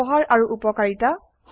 ব্যবহাৰ আৰু উপকাৰিতা